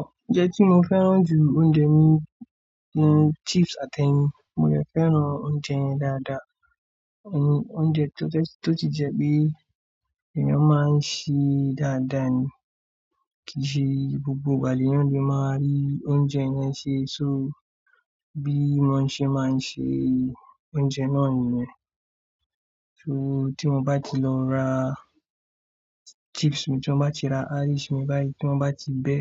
Ounjẹ́ tí mo fẹ́ràn jù oúnjẹ mi, ni chips àti ẹyin, mo lè fẹ́ràn oúnjẹ yẹn dáadáa. Òúnjẹ tó ti jẹ́ pé èèyàn máa ń ṣe dáadáa ni, kìí ṣe gbogbo ìgbà lẹ́eyan le máa rí oúnjẹ yẹn ṣe. So bí wọ́n ṣe máa ń ṣe oúnjẹ náà nìyẹn. So tí mo bá ti lọ ra chips mi, tí won bá ti ra isu mi báyìí, tí mo bá ti bẹ́,